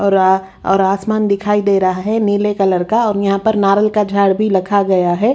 और और आसमान दिखाई दे रहा है नीले कलर का और यहां पर नारियल का झाड़ भी रखा गया है.